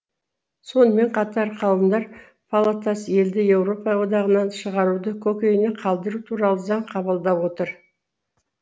сонымен қатар қауымдар палатасы елді еуропа одағынан шығаруды көкейіне қалдыру туралы заң қабылдап отыр